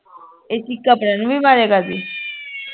ਇਹ ਚੀਕਾਂ ਪ੍ਰਣਵੀ ਮਾਰਿਆ ਕਰਦੀ